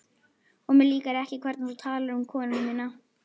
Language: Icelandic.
Og mér líkar ekki hvernig þú talar um konuna mína